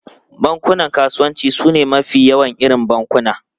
Bankunan kasuwanci sune mafi yawan irin bankuna.